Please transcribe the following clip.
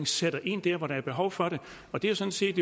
sætter ind der hvor der er behov for det og det er sådan set